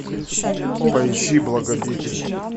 поищи благодетель